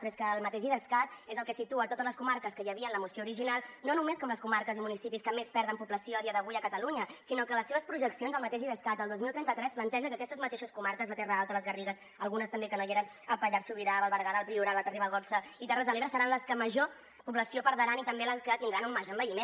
però és que el mateix idescat és el que situa totes les comarques que hi havia en la moció original no només com les comarques i municipis que més perden població a dia d’avui a catalunya sinó que en les seves projeccions el mateix idescat el dos mil trenta tres planteja que aquestes mateixes comarques la terra alta les garrigues algunes també que no hi eren el pallars sobirà el berguedà el priorat l’alta ribagorça i terres de l’ebre seran les que major població perdran i també les que tindran un major envelliment